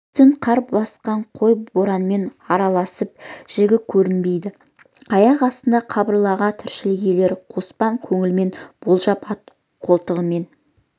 үстін қар басқан қой боранмен араласып жігі көрінбейді аяқ астында қыбырлаған тіршілік иелерін қоспан көңілімен болжап ат қолтығымен